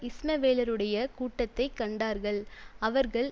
இஸ்மவேலருடைய கூட்டத்தை கண்டார்கள் அவர்கள்